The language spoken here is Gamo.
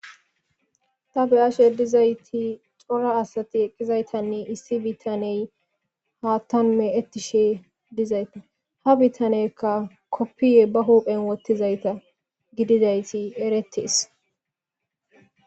tafe ashe dizayti xora asati eqqizaytanne issi bittaney haattamme ettishe dizayta ha bittanekka koppiye ba huuphen wottizayta gidizayti eretees